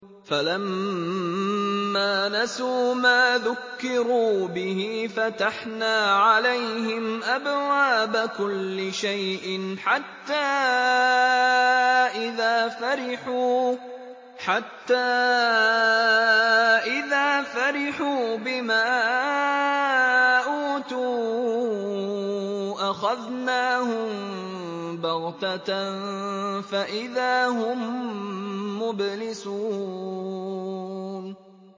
فَلَمَّا نَسُوا مَا ذُكِّرُوا بِهِ فَتَحْنَا عَلَيْهِمْ أَبْوَابَ كُلِّ شَيْءٍ حَتَّىٰ إِذَا فَرِحُوا بِمَا أُوتُوا أَخَذْنَاهُم بَغْتَةً فَإِذَا هُم مُّبْلِسُونَ